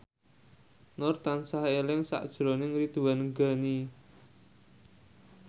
Nur tansah eling sakjroning Ridwan Ghani